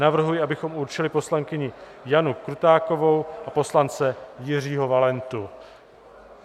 Navrhuji, abychom určili poslankyni Janu Krutákovou a poslance Jiřího Valentu.